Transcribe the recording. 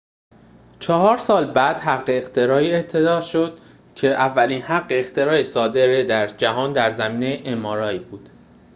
چهار سال بعد حق اختراعی اعطا شد که اولین حق اختراع صادره در جهان در زمینه ام‌آرآی بود